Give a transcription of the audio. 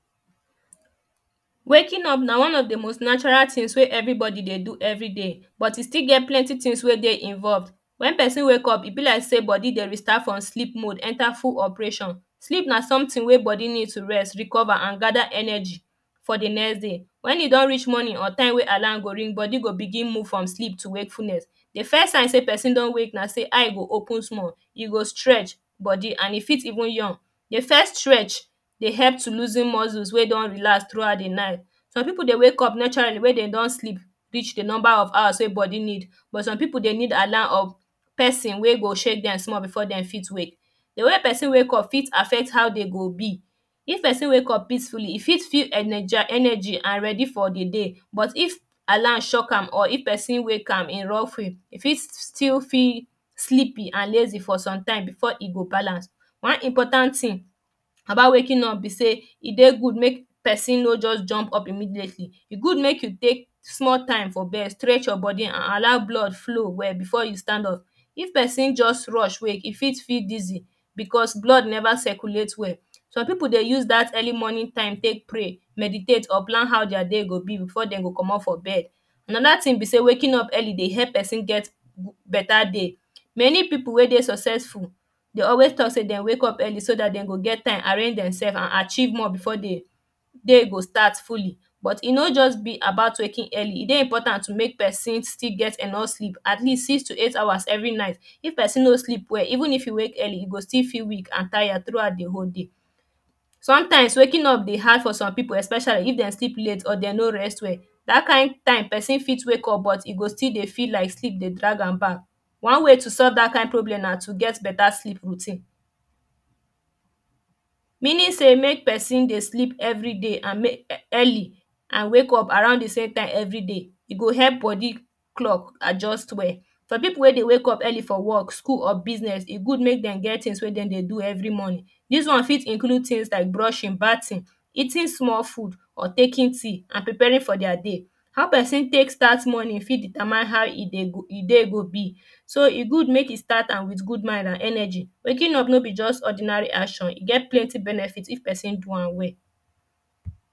waking up na one of the most natural tins wey everybodydey do everyday bt e still get plenty tins wey dey involved wen perosn wake up, e be like sey body dey restart from sleep mode enter full operation. sleep na sometin wey body need to rest recover an gada ebergy for the next day. wen e don reach morning or time wey alarm go ring body go begin move from sleep to wakefulness e first sign sey person don wake na sey eye go open small, e go strech body an e fit even yawn. e first strech dey help to losen muscles wey don relax through out the night some people dey wake up naturaly wen dem don sleep reach the number of hours wey dey body need but some people alarm of person wey go shake dem small before dem fit wake the way wey person wake up fit affect how dey go be if person dey wake up peacefully, e fit feel energy and ready for the day but if alarm shoch am, or if person wake am in rough way, e fit still feel sleepy and lazy for some time before e go balance one important tin about waking up be sey e dey good make person make person no just jump up immediately e good make you take small time for bed strech your biody an allow blood flow well before you stand up if person just rush wake, e fit feel dizzy beause blood never circulate well soem people dey use that early morning time take pray meditate or plan how their day go be before dem comot for bed anoda tin be sey waking up early dey help person get beta day. many people wey dey successful dey always talk say dem wake up early so that dem go get time arrange demsefs and archieve more before the day go start fully but e no just be about waking early e dey important to make person still get enough sleep at least 6 - 8 hours everynight if person no sleep well even if e wake early e go still feel weak an tired thoughout the whole day sometimes waking dey hard for some people especially if dem sleep late or dem no rest well. that kind time person fit wake up but e go still feel like sleep dey drag am back one way to solve dat kind problem na to get beta sleep routine meaning sey make person dey sleep everyday an make early an wake up around the same time everyday. e go help body clock adjust well some people wey dey wake up early for work school or business e good make dem get tings wey dem dey do every morning this one fit include tings like brushing bathing eating small food or taking tea an preparing for thier day how person take start morning e fit determine how e day go be. so e good make e start am wit good mind an energy waking up no be just ordinary action. e get plenty benefits if person do am well.